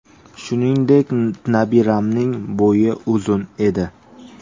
Shuningdek, nabiramning bo‘yi uzun edi.